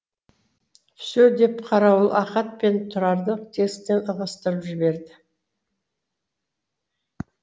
все деп қарауыл ахат пен тұрарды тесіктен ығыстырып жіберді